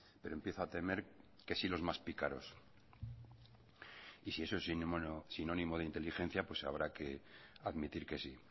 pero empiezo a temer que sí los más pícaros y si eso es sinónimo de inteligencia habrá que admitir que sí